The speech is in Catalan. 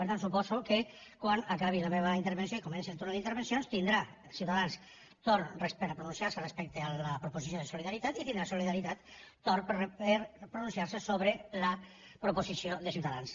per tant suposo que quan acabi la meva intervenció i comenci el torn d’intervencions tindrà ciutadans torn per a pronunciar se respecte a la proposició de solidaritat i tindrà solidaritat torn per pronunciar se sobre la proposició de ciutadans